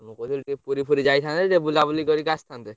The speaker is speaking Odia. ମୁଁ କହୁଥିଲି ଟିକେ ପୁରୀ ଫୁରି ଯାଇଥାନ୍ତେ ଟିକେ ବୁଲାବୁଲି କରିକି ଆସିଥାନ୍ତେ।